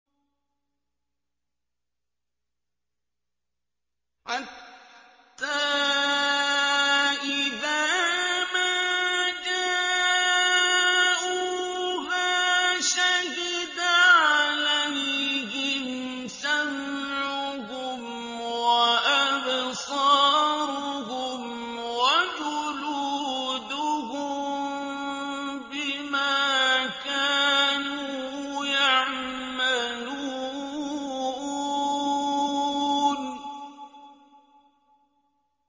حَتَّىٰ إِذَا مَا جَاءُوهَا شَهِدَ عَلَيْهِمْ سَمْعُهُمْ وَأَبْصَارُهُمْ وَجُلُودُهُم بِمَا كَانُوا يَعْمَلُونَ